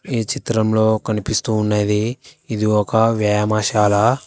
ఈ చిత్రంలో కనిపిస్తూ ఉండేది ఇది ఒక వ్యాయామశాల.